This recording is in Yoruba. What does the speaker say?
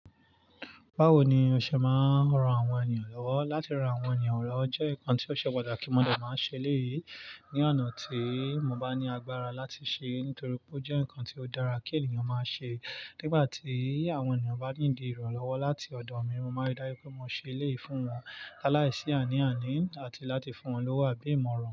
Bawo ni ọṣẹ máa ń ran àwọn ènìyàn lọ́wọ́? Látí ran àwọn ènìyàn lọ́wọ́ jẹ́ nǹkan tí ọṣẹ patàkí mọ dẹ̀ máa ń ṣe e léyìí Ní oná tíì mo bá ní agbára láti ṣe é, nítorí pé ó jẹ nǹkan tí ó dára kí ènìyàn máa ṣe. Nígbà tí àwọn ènìyàn bá need ìrànlọ́wọ́ láti ọ̀dọ̀ mi, mo máa ń rí dáju pé mo ṣe é léyìí fún wọn. Lálàyi sí àní àní àti láti fún wọn lọ́wọ́ àbí ìmọ̀ràn.